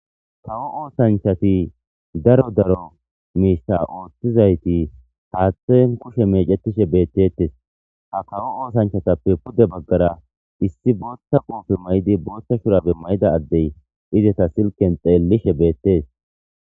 Kawo oosanchati daro daro miista ooththizayti haathten kushe meecetishe beettettes . ha kawo oosanchatappe pude baggara issi bootta kote mayidi boothta shurabe mayida addey ideta silken xeellishe beettees.